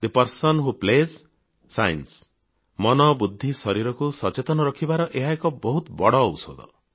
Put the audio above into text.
the person who plays shines ମନ ବୁଦ୍ଧି ଶରୀରକୁ ସଚେତନ ରଖିବାର ଏହା ଏକ ବହୁତ ବଡ଼ ଔଷଧ